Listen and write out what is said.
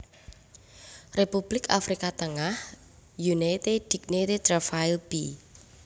Republik Afrika Tengah Unité Dignité Travail b